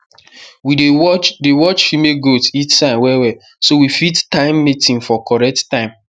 we dey watch dey watch female goats heat signs well well so we fit time mating for correct time